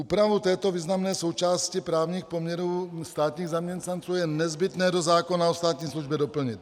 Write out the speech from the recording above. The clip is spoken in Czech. Úpravu této významné součásti právních poměrů státních zaměstnanců je nezbytné do zákona o státní službě doplnit.